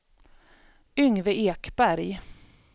Yngve Ekberg